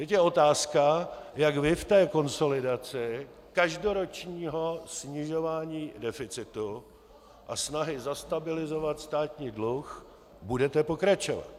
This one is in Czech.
Teď je otázka, jak vy v té konsolidaci každoročního snižování deficitu a snahy zastabilizovat státní dluh budete pokračovat.